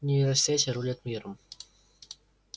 нейросети рулят миром